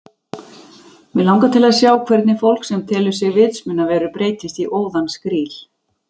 Mig langar til að sjá hvernig fólk sem telur sig vitsmunaverur breytist í óðan skríl